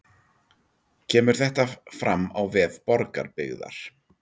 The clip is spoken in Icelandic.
Kemur þetta fram á vef Borgarbyggðar